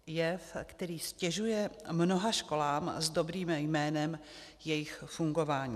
Jev, který ztěžuje mnoha školám s dobrým jménem jejich fungování.